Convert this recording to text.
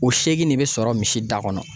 O seegin de bɛ sɔrɔ misi da kɔnɔ